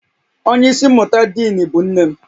Onye isi mmụta diinu bụ nne m